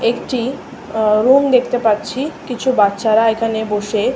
একটি অ রুম দেখতে পাচ্ছি কিছু বাচ্চারা এখানে বসে--